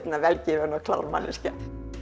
vel gefin og klár manneskja